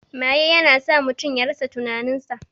Maye ya na sa mutum ya rasa tinanin sa